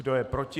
Kdo je proti?